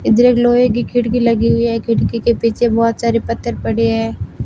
इधर एक लोहे की खिड़की लगी हुई है खिड़की के पीछे बहोत सारे पत्थर पड़े हैं।